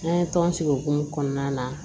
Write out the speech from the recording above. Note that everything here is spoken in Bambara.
An ye tɔn sigi o hukumu kɔnɔna na